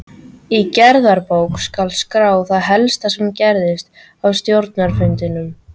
Í gerðabók skal skrá það helsta sem gerist á stjórnarfundum.